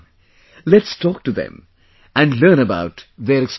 Come, let's talk to them and learn about their experience